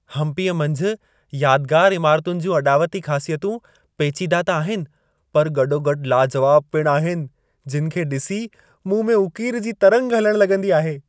हम्पीअ मंझि यादिगारु इमारतुनि जूं अॾावती ख़ासियतूं पेचीदा त आहिनि, पर गॾोगॾु लाजवाब पिणु आहिनि। जिनि खे ॾिसी मूं में उकीर जी तरंग हलण लॻंदी आहे।